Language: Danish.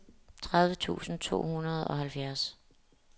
tredive tusind to hundrede og halvfjerds